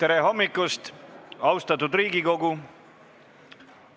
Tere hommikust, austatud Riigikogu!